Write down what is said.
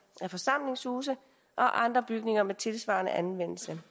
af forsamlingshuse og andre bygninger med tilsvarende anvendelse